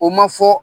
O ma fɔ